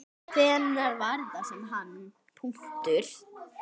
Hvenær var þetta sem hann.